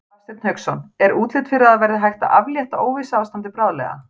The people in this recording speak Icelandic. Hafsteinn Hauksson: Er útlit fyrir að það verði hægt að aflétta óvissuástandi bráðlega?